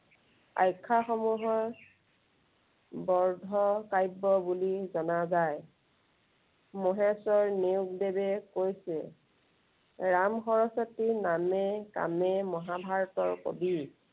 আখ্য়া সমূহৰ বৰ্ধ কাব্য় বুলি জনা যায়। মহেশ্বৰ নেওগ দেৱে কৈছিল ৰাম সৰস্বতী নামে কামে মহাভাৰতৰ কবি।